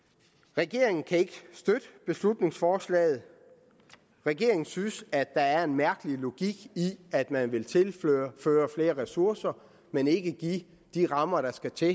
regeringen kan ikke støtte beslutningsforslaget regeringen synes at der er en mærkelig logik i at man vil tilføre flere ressourcer men ikke give de rammer der skal til